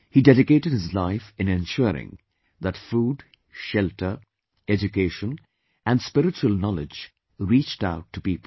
He dedicated his life in ensuring that food, shelter, education and spiritual knowledge reached out to people